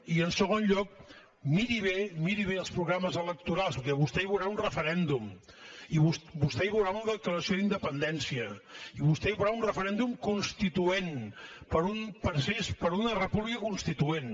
i en segon lloc miri bé miri bé els programes electorals perquè vostè hi veurà un referèndum i vostè hi veurà una declaració d’independència i vostè hi veurà un referèndum constituent per una república constituent